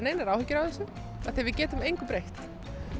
engar áhyggjur af þessu því við getum engu breytt